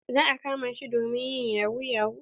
Za a kama shi don yin yahu yahu.